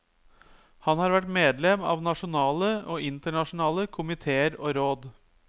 Han har vært medlem av nasjonale og internasjonale komitéer og råd.